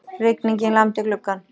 Rigningin lamdi gluggann.